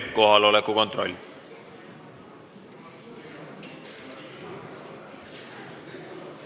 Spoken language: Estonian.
Kohaloleku kontroll.